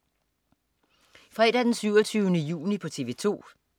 Fredag den 27. juni - TV 2: